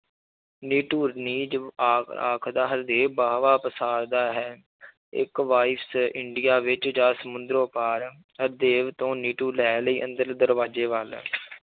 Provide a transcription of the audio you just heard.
ਆ~ ਆਖਦਾ ਹਰਦੇਵ ਬਾਹਵਾਂ ਪਸਾਰਦਾ ਹੈ ਇੱਕ ਇੰਡੀਆ ਵਿੱਚ ਜਾਂ ਸਮੁੰਦਰੋਂ ਪਾਰ ਹਰਦੇਵ ਤੋਂ ਨਿਟੂ ਲੈ ਲਈ ਅੰਦਰ ਦਰਵਾਜ਼ੇ ਵੱਲ